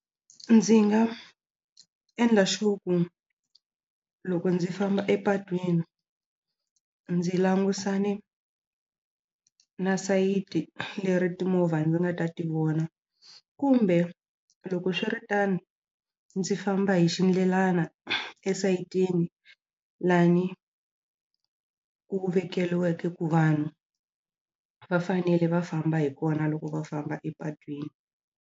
Ndzi nga endla sure ku loko ndzi famba epatwini ndzi langusane na sayiti leri timovha ndzi nga ta tivona kumbe loko swiritano ndzi famba hi xindlelana esayitini lani ku vekeliweke ku vanhu va fanele va famba hi kona loko va famba epatwini.